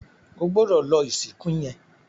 O gbódò lò ìsìnkú yén!